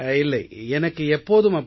இல்லை எனக்கு எப்போதும் அப்படி